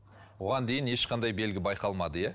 оған дейін ешқандай белгі байқалмады иә